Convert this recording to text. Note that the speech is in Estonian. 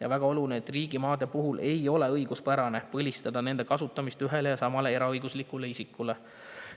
On väga oluline, et riigimaade puhul ei ole õiguspärane põlistada nende kasutamist ühele ja samale eraõiguslikule isikule.